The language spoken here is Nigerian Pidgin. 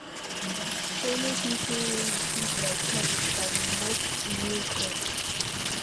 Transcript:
Follow pipo wey you see there talk and make new friends